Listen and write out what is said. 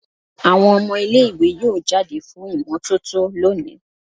Awọn ọmọ ile-iwe yoo jade fun imototo loni